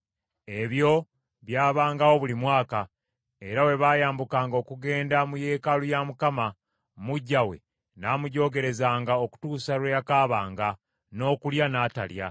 Ebyo byabangawo buli mwaka, era bwe baayambukanga okugenda mu yeekaalu ya Mukama , muggya we n’amujoogerezanga okutuusa lwe yakaabanga, n’okulya n’atalya.